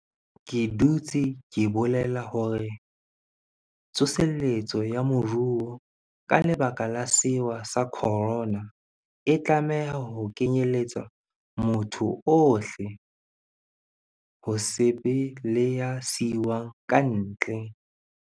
Ke dutse ke bolela hore tso seletso ya moruo ka lebaka la sewa sa khorona, e tlameha ho kenyeletsa motho ohle, ho se be le ya siuwang kantle.